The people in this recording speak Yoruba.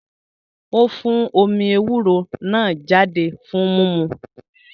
Ó fún omí ewúro náà jáde fún mímu